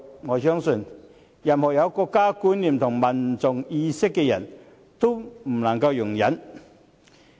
我相信，任何有國家觀念和民族意識的人都不能夠容忍。